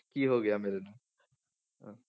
ਕੀ ਹੋ ਗਿਆ ਮੇਰੇ ਨਾਲ ਹਾਂ